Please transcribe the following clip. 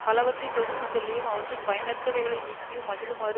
பலவற்றைத் தொகுத்து சொல்லியும் அவற்றுள் பயனற்றவைகளை நீக்கியும் மகிழுமாறு